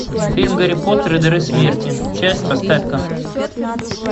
фильм гарри поттер и дары смерти часть поставь ка